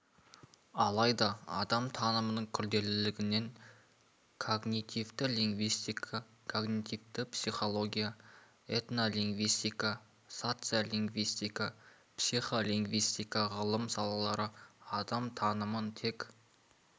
алайда адам танымының күрделілігінен когнитивті лингвистика когнитивті психология этнолингвистика социолингвисика психолингвистика ғылым салалары адам танымын тек